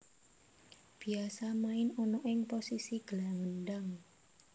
Biasa main ana ing posisi gelandang